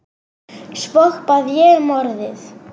Svo bað ég um orðið.